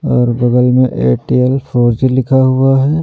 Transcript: और बगल में एटीएल फोर जी लिखा हुआ है।